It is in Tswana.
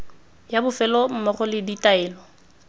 ya bofelo mmogo le ditaelo